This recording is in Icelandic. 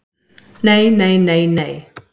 Nei nei nei nei.